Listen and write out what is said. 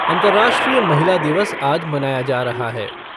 अंतर्राष्ट्रीय महिला दिवस आज मनाया जा रहा है।